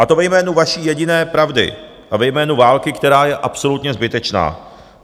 A to ve jménu vaší jediné pravdy a ve jménu války, která je absolutně zbytečná.